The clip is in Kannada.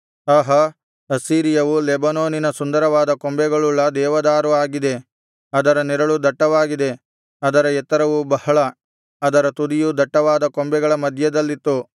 ಆಹಾ ಅಸ್ಸೀರಿಯವು ಲೆಬನೋನಿನ ಸುಂದರವಾದ ಕೊಂಬೆಗಳುಳ್ಳ ದೇವದಾರು ಆಗಿದೆ ಅದರ ನೆರಳು ದಟ್ಟವಾಗಿದೆ ಅದರ ಎತ್ತರವು ಬಹಳ ಅದರ ತುದಿಯು ದಟ್ಟವಾದ ಕೊಂಬೆಗಳ ಮಧ್ಯದಲ್ಲಿತ್ತು